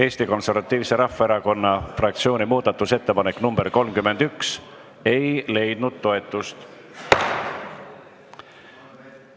Eesti Konservatiivse Rahvaerakonna fraktsiooni muudatusettepanek nr 31 ei leidnud toetust.